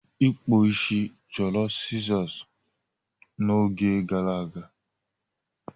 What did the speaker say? Ịkpụ isi chọrọ sizoosi n'oge gara aga.